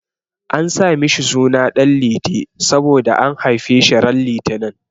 An sa mishi suna Ɗan Liti saboda an haife shi ran litinin.